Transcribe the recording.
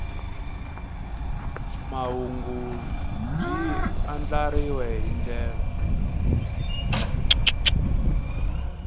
mahungu byi andlariwile hi ndlela